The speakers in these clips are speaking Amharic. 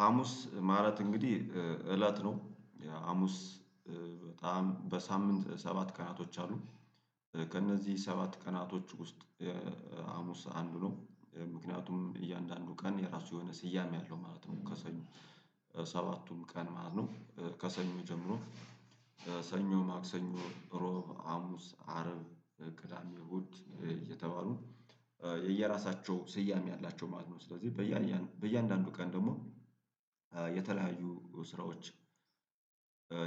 ሀሙስ ማለት እንግዲህ እለት ነው። ሀሙስ በጣም በሳምንት ሰባት ቀናቶች አሉ። ከእነዚህ ሰባት ቀናቶች ውስጥ ሀሙስ አንዱ ነው። ምክንያቱም እያንዳንዱ ቀን የራሱ የሆነ ስያሜ ያለው ማለት ነው። ከሰኞ ሰባቱም ቀን ማለት ነው። ከሰኞ ጀምሮ ሰኞ ማክሰኞ እሮብ አሙስ አረብ ቅዳሜ እሁድ እየተባሉ የየራሳቸው ስያሜ አላቸው ማለት ነው። ስለዚህ በያንዳንዱ ቀን ደግሞ የተለያዩ ስራዎች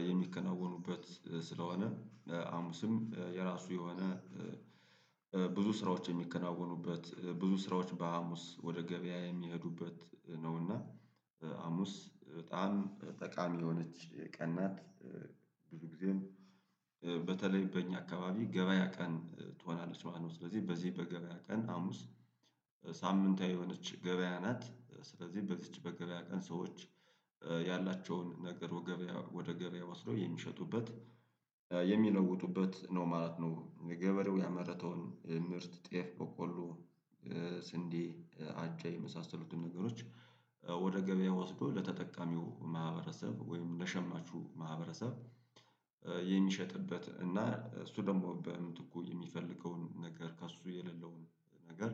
የሚከናወኑበት ስለሆነ ሀሙስም የራሱ የሆነ ብዙ ስራዎች የሚከናወኑበት ብዙ ስራዎች በሀሙስ ወደ ገበያ የሚሄዱበት ነው። እና ሀሙስ በጣም ጠቃሚ የሆነች ቀን ናት። ብዙ ጊዜም በተለይ በእኛ አካባቢ ገበያ ቀን ትሆናለች ማለት ነው። ስለዚህ በዚህ በገበያ ቀን ሀሙስ ሳምንታዊ የሆነች ገበያ ናት። ስለዚህ በዚች በገበያ ቀን ሰዎች ያላቸውን ነገር ወደ ገበያ ወስደው የሚሸጡበት የሚለውጡበት ነው ማለት ነው። ገበሬው ያመረተውን ምርት ጤፍ በቆሎ ስንዴ አጃ የመሳሰሉትን ነገሮች ወደ ገበያ ወስዶ ለተጠቃሚው ማህበረሰብ ወይም ለሸማቹ ማህበረሰብ የሚሸጥበት እና እሱ ደግሞ በምትኩ የሚፈልገውን ነገር ከእሱ የሌለውን ነገር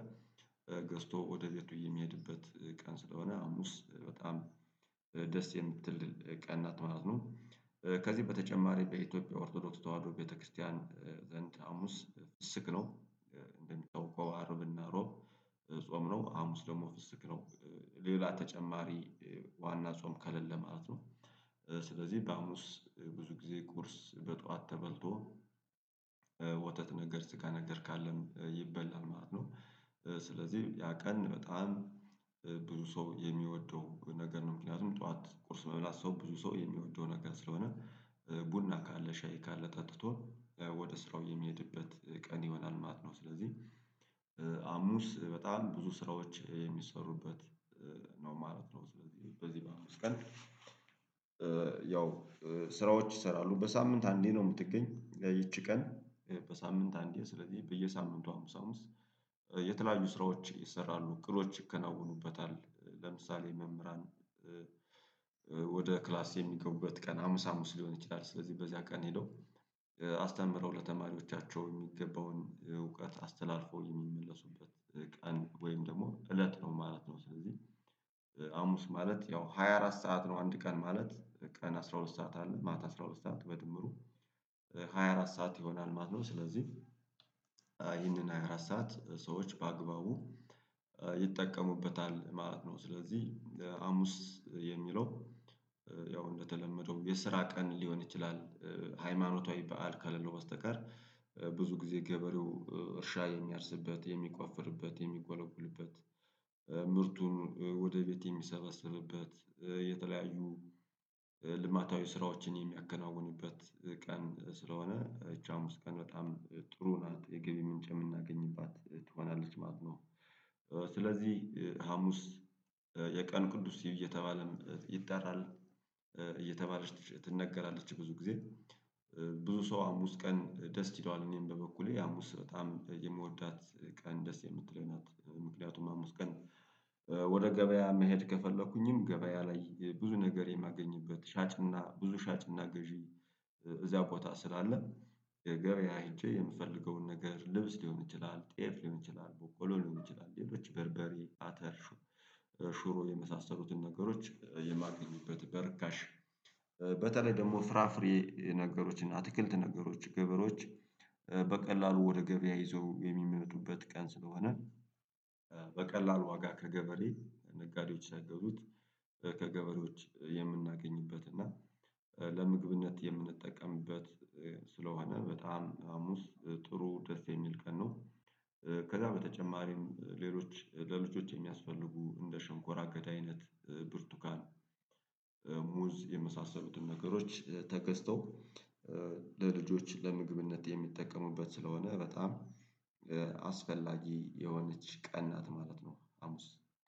ገዝቶ ወደ ቤቱ የሚሄድበት ቀን ስለሆነ ሀሙስ በጣም ደስ የምትል ቀን ናት ማለት ነው። ከዚህ በተጨማሪ በኢትዮጵያ ኦርቶዶክስ ተዋህዶ ቤተክርስቲያን ዘንድ ሀሙስ ፍስግ ነው። እንደምታወቀው አረብና እሮብ ጾም ነው ሀሙስ ደግሞ ፍስግ ነው። ሌላ ተጨማሪ ዋና ጾም ከለለ ማለት ነው። ስለዚህ በሀሙስ ብዙ ጊዜ ቁርስ በጠዋት ተበልቶ ወተት ነገር ስገ ነገር ካለም ይበላል ማለት ነው። ስለዚህ ያ ቀን በጣም ብዙ ሰው የሚወደው ነገር ነው። ምክንያቱም ጠዋት ቁርስ መብላት ሰው ብዙ ሰው የሚወደው ነገር ስለሆነ ቡና ካለ ሻይ ካለ ጠጥቶ ወደ ስራው የሚሄድበት ቀን ይሆናል ማለት ነው። ስለዚህ ሀሙስ በጣም ብዙ ስራዎች የሚሰሩበት ነው ማለት ነው። ስለዚህ በዚህ በሀሙስ ቀን ያው ስራዎች ይሰራሉ በሳምንት አንዴ ነው። የምትገኝ ይቺ ቀን በሳምንት አንዴ ስለዚህ በየሳምንቱ ሀሙስ ሀሙስ የተለያዩ ስራዎች ይሰራሉ እቅዶች ይከናወኑበታል ለምሳሌ መምህራን ወደ ክላስ የሚገቡበት ቀን ሀሙስ ሀሙስ ሊሆን ይችላል። ስለዚህ በዚያ ቀን ሄደው አስተምረው ለተማሪዎቻቸው የሚገባውን እውቀት አስተላልፈው የሚመለሱበት ቀን ወይም ደግሞ እለት ነው ማለት ነው። ስለዚህ ሀሙስ ማለት ያው ሃያ አራት ሰዓት ነው አንድ ቀን ማለት ቀን አስራ ሁለት ሰዓት አለ ማታ አስራ ሁለት ሰዓት በድምሩ ሃያ አራት ሰዓት ይሆናል ማለት ነው። ስለዚህ ይህንን ሃያ አራት ሰዓት ሰዎች በአግባቡ ይጠቀሙበታል ማለት ነው። ስለዚህ ሀሙስ የሚለው ያው እንደተለመደው የስራ ቀን ሊሆን ይችላል። ሃይማኖታዊ በዓል ካለለው በስተቀር ብዙ ጊዜ ገበሬው እርሻ የሚያርስበት የሚቆፍርበት የሚጎለጉልበት ምርቱን ወደ ቤት የሚሰባሰብበት የተለያዩ ልማታዊ ስራዎችን የሚያከናውንበት ቀን ስለሆነ እቻ ሀሙስ ቀን በጣም ጥሩ ናት የገብ ምንጭ የምናገኝባት ትሆናለች ማለት ነው። ስለዚህ ሀሙስ የቀን ቅዱስ እየተባለም ይጠራል። እየተባለች ትነገራለች ብዙ ጊዜ ብዙ ሰው ሀሙስ ቀን ደስ ይለዋል እኔም በበኩሌ ሀሙስ በጣም የምወዳት ቀን ደስ የምትለኝ ናት። ምክንያቱም ሀሙስ ቀን ወደ ገበያ መሄድ ከፈለኩኝም ገበያ ላይ ብዙ ነገር የማገኝበት ሻጭና ብዙ ሻጭና ገዢ እዚያ ቦታ ስላለ የ ገበያ ሄጄ የምፈልገውን ነገር ልብስ ሊሆን ይችላል ጤፍ ሊሆን ይችላል ቦቆሎ ሊሆን ይችላል ሌሎች በርበሬ አተር ሽሮ የመሳሰሉትን ነገሮች የማገኝበት በርካሽ በተለይ ደግሞ ፍራፍሬ ነገሮችን እና አትክልት ነገሮች ገበሮዋች በቀላሉ ወደ ገበያ ይዘው የሚመጡበት ቀን ስለሆነ በቀላሉ ዋጋ ከገበሬ ነጋዴዎች ሰይገዙት ከገበሬዎች የምናገኝበት እና ለምግብነት የምንጠቀምበት ስለሆነ በጣም ሀሙስ ጥሩ ደስ የሚል ቀን ነው። ከዚያ በተጨማሪም ሌሎች ለልጆች የሚያስፈልጉ እንደ ሽንኮራ አገዳ አይነት ብርቱካን ሙዝ የመሳሰሉትን ነገሮች ተገዝተው ለልጆች ለምግብነት የሚጠቀሙበት ስለሆነ በጣም አስፈላጊ የሆነች ቀና ነት ማለት ነው። ሀሙስ